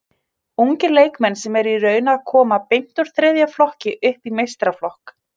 Ungir leikmenn sem eru í raun að koma beint úr þriðja flokki upp í meistaraflokk.